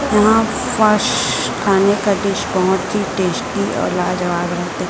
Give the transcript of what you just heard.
यहां खाने का डिश बहोत ही टेस्टी और लाजवाब रहते--